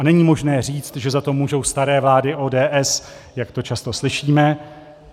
A není možné říct, že za to můžou staré vlády ODS, jak to často slyšíme.